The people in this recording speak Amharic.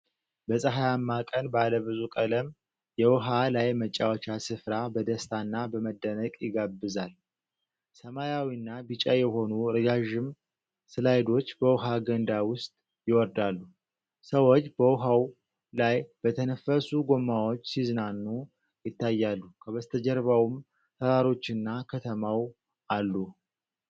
በፀሐያማ ቀን ባለብዙ ቀለም የውሃ ላይ መጫወቻ ስፍራ በደስታና በመደነቅ ይጋብዛል። ሰማያዊና ቢጫ የሆኑ ረዣዥም ስላይዶች በውሃ ገንዳ ውስጥ ይወርዳሉ። ሰዎች በውሃው ላይ በተነፈሱ ጎማዎች ሲዝናኑ ይታያሉ፤ ከበስተጀርባውም ተራሮችና ከተማው አሉ።